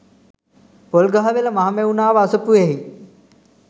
Polgahawela Mahamevnawa අසපුවෙහි